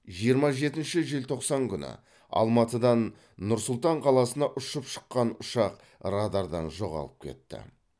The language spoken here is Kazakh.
жиырма жетінші желтоқсан күні алматыдан нұр сұлтан қаласына ұшып шыққан ұшақ радардан жоғалып кетті